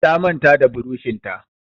Ta manta da burushin ta.